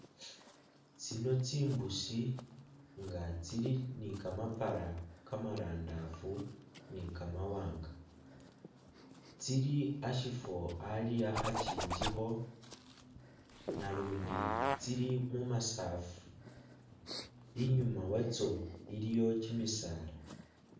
Tsino tsimbuusi nga tsili ni kamapara kamarandaafu ni kamawanga tsili ashifo ali akhakyinjikho nalundi tsili mumasafu inyuma watso iliyo kyimisaala